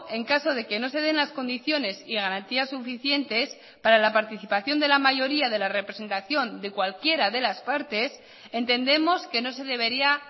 en caso de que no se den las condiciones y garantías suficientes para la participación de la mayoría de la representación de cualquiera de las partes entendemos que no se debería